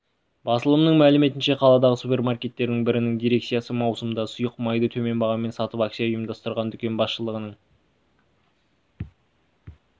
басылымның мәліметінше қаладағы супермаркеттердің бірінің дирекциясы маусымда сұйық майды төмен бағамен сатып акция ұйымдастырған дүкен басшылығының